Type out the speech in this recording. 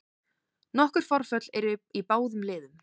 Nokkur forföll eru í báðum liðum